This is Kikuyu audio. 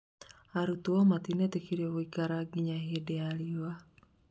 arutwo matinetikĩrio gwĩkĩra kĩnyatha hindi ya rĩua